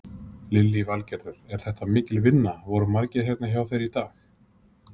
Lillý Valgerður: Er þetta mikil vinna, voru margir hérna hjá þér í dag?